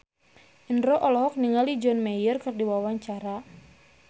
Indro olohok ningali John Mayer keur diwawancara